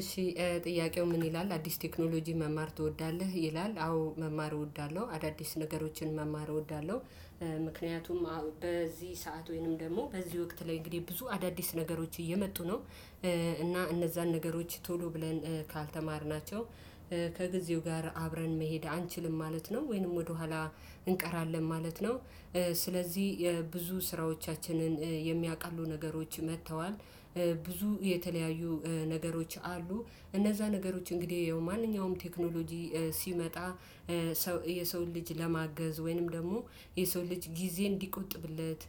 እሺ ጥያቄው ምን ይላል አዲስ ቴክኖሎጂ መማር ትወዳለህ ይላል አዎ መማር እወዳለሁ አዳዲስ ነገሮችን መማር እወዳለሁ። ምክንያቱም በዚህ ሰዓት ወይንም ደግሞ በዚህ ወቅት ላይ እንግዲህ ብዙ አዳዲስ ነገሮች እየመጡ ነው እና እነዛን ነገሮች ቶሎ ብለን ካልተማርናቸው ከጊዜው ጋር አብረን መሄድ አንችልም ማለት ነው። ወይንም ወደኋላ እንቀራለን ማለት ነው። ስለዚህ የብዙ ስራዎቻችንን የሚያውቃሉ ነገሮች መተዋል ብዙ የተለያዩ ነገሮች አሉ እነዛ ነገሮች እንግዲህ ያው ማንኛውም ቴክኖሎጂ ሲመጣ። የሰውን ልጅ ለማገዝ ወይንም ደግሞ የሰው ልጅ ጊዜ እንዲቆጥብለት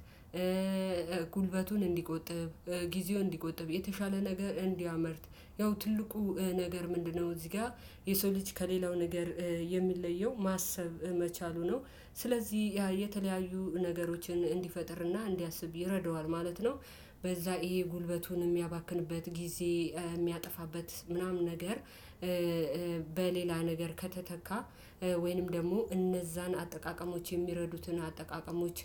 ጉልበቱን እንዲቆጥብ ጊዜውን እንዲቆጥብ የተሻለ ነገር እንዲያመርት ያው ትልቁ ነገር ምንድነው እዚህ ጋ የሰው ልጅ ከሌላው ነገር የሚለየው ማሰብ መቻሉ ነው። ስለዚህ ያ የተለያዩ ነገሮችን እንዲፈጥርና እንዲያስብ ይረደዋል ማለት ነው። በዛ ይሄ ጉልበቱን ሚያባክንበት ጊዜ ሚያጠፋበት ምናምን ነገር። በሌላ ነገር ከተተካ ወይንም ደግሞ እነዛን አጠቃቀሞች የሚረዱትን አጠቃቀሞች።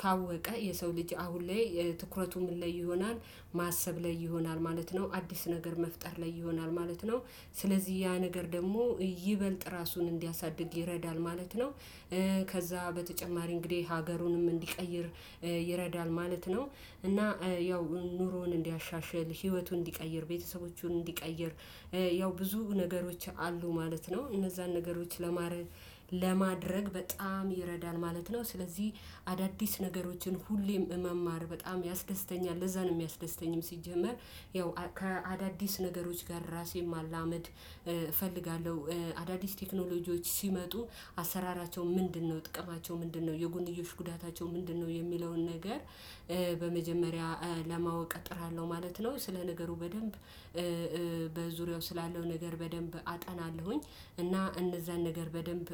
ካወቀ የሰው ልጅ አሁን ላይ ትኩረቱ ምን ላይ ይሆናል ማሰብ ላይ ይሆናል ማለት ነው አዲስ ነገር መፍጠር ላይ ይሆናል ማለት ነው። ስለዚህ ያ ነገር ደግሞ ይበልጥ ራሱን እንዲያሳድግ ይረዳል ማለት ነው። ከዛ በተጨማሪ እንግዲህ ሀገሩንም እንዲቀይር ማለት ነው። እና ያው ኑሮውን እንዲያሻሽል ህይወቱን እንዲቀይር ቤተሰቦቹን እንዲቀይር ያው ብዙ ነገሮች አሉ ማለት ነው። እነዛን ነገሮች ለማድረግ ለማድረግ በጣም ይረዳል ማለት ነው። ስለዚህ አዳዲስ ነገሮችን ሁሌም መማር በጣም ያስደስተኛል ለዛ ነው ሚያስደስተኝም። ሲጀመር ያው ከአዳዲስ ነገሮች ጋር ራሴን ማላመድ እፈልጋለሁ አዳዲስ ቴክኖሎጂዎች ሲመጡ አሰራራቸው ምንድነው ጥቅማቸው ምንድነው የጎንዮሽ ጉዳታቸው ምንድነው የሚለውን ነገር በመጀመሪያ ለማወቅ እጥራለሁ ማለት ነው። ስለ ነገሩ በደንብ በዙሪያው ስላለው ነገር በደንብ አጠናለሁኝ። እና እነዛን ነገር በደንብ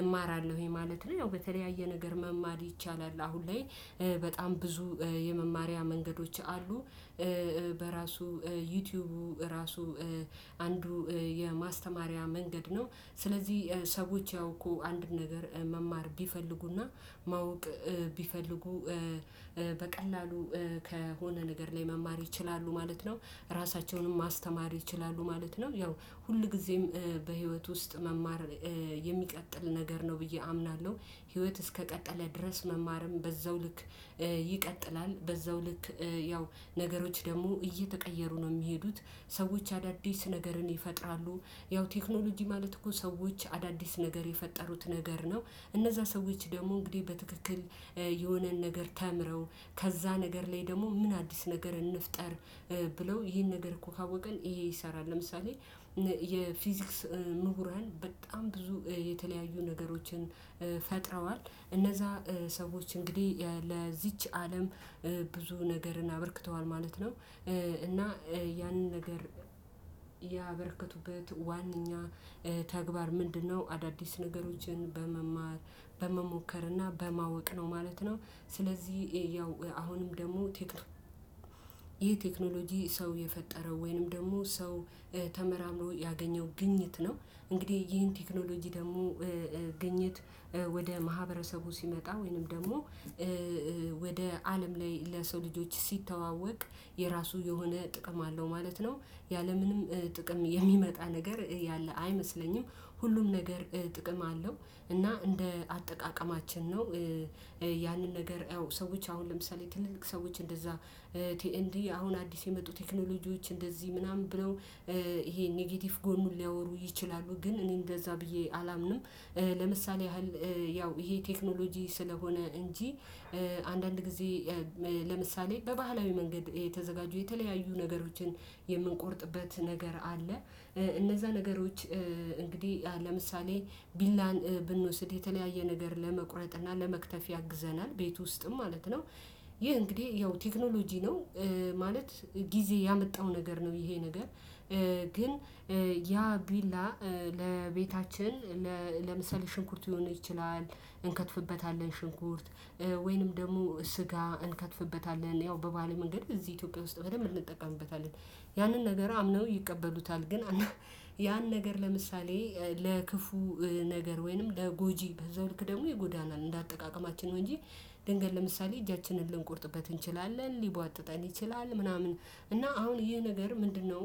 እማራለሁኝ ማለት ነው። ያው በተለያየ ነገር መማር ይቻላል አሁን ላይ በጣም ብዙ የመማሪያ መንገዶች አሉ። በራሱ ዩቲዩቡ ራሱ አንዱ የማስተማሪያ መንገድ ነው። ስለዚህ ሰዎች ያውቁ አንድ ነገር መማር ቢፈልጉና ማወቅ ቢፈልጉ በቀላሉ ከሆነ ነገር ላይ መማር ይችላሉ ማለት ነው። ራሳቸውንም ማስተማር ይችላሉ ማለት ነው። ያው ሁልጊዜም በህይወት ውስጥ መማር የሚቀጥል ነገር ነው ብዬ አምናለሁ። ህይወት እስከቀጠለ ድረስ መማርም በዛው ልክ ይቀጥላል። በዛው ልክ ያው ነገሮች ደግሞ እየተቀየሩ ነው ሚሄዱት። ሰዎች አዳዲስ ነገርን ይፈጥራሉ ያው ቴክኖሎጂ ማለት እኮ ሰዎች አዳዲስ ነገር የፈጠሩት ነገር ነው። እነዛ ሰዎች ደግሞ እንግዲህ በትክክል የሆነን ነገር ተምረው ከዛ ነገር ላይ ደግሞ ምን አዲስ ነገር እንፍጠር? ብለው ይሄን ነገር እኮ ካወቀን ይሄ ይሰራል ለምሳሌ። የፊዚክስ ምሁራን በጣም ብዙ የተለያዩ ነገሮችን እነዛ ሰዎች እንግዲህ ለዚች አለም ብዙ ነገርን አበርክተዋል ማለት ነው። እና ያንን ነገር ያበረከቱበት ዋናኛ ተግባር ምንድነው? አዳዲስ ነገሮችን በመማር በመሞከር እና በማወቅ ነው ማለት ነው። ስለዚህ ያው አሁንም ደግሞ ይህ ቴክኖሎጂ ሰው የፈጠረው ወይንም ደግሞ ሰው ተመራምሮ ያገኘው ግኝት ነው። እንግዲህ ይህን ቴክኖሎጂ ደግሞ ግኝት ወደ ማህበረሰቡ ሲመጣ ወይንም ደግሞ ወደ አለም ላይ ለሰው ልጆች ሲተዋወቅ የራሱ የሆነ ጥቅም አለው ማለት ነው። ያለምንም ጥቅም የሚመጣ ነገር ያለ አይመስለኝም። ሁሉም ነገር ጥቅም አለው እና እንደ አጠቃቀማችን ነው። ያንን ነገር ያው ሰዎች አሁን ለምሳሌ ትልልቅ ሰዎች እንደዛ ቲኤንዲ አሁን አዲስ የመጡ ቴክኖሎጂዎች እንደዚህ ምናምን ብለው ይሄ ኔጌቲቭ ጎኑን ሊያወሩ ይችላሉ ግን እኔ እንደዛ ብዬ አላምንም። ለምሳሌ ያህል ያው ይሄ ቴክኖሎጂ ስለሆነ እንጂ አንዳንድ ጊዜ ለምሳሌ በባህላዊ መንገድ የተዘጋጁ የተለያዩ ነገሮችን የምንቆርጥበት ነገር አለ። እነዛ ነገሮች እንግዲህ ለምሳሌ ቢላን ብንወስድ የተለያየ ነገር ለመቁረጥ እና ለመክተፍ ያግዘናል ቤት ውስጥም ማለት ነው። ይህ እንግዲህ ያው ቴክኖሎጂ ነው። ማለት ጊዜ ያመጣው ነገር ነው ይሄ ነገር ያ ቢላ ለቤታችን ለምሳሌ ሽንኩርት ይሆን ይችላል። እንከትፍበታለን ሽንኩርት ወይንም ደግሞ ስጋ እንከትፍበታለን ያው በባለ መንገድ እዚህ ኢትዮጵያ ውስጥ በደንብ እንጠቀምበታለን። ያንን ነገር አምነው ይቀበሉታል ግን ያን ነገር ለምሳሌ ለክፉ ነገር ወይንም ለጎጂ በዛው ልክ ደግሞ ይጎዳናል እንደ አጠቃቀማችን ነው። እንጂ ድንገት ለምሳሌ እጃችንን ልንቆርጥበት እንችላለን ሊቧጥጠን ይችላል። ምናምን እና አሁን ይሄ ነገር ምንድነው